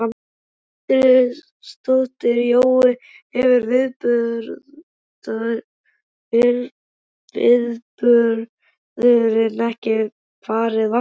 Edda Andrésdóttir: Jói, hefur viðburðurinn ekki farið vaxandi?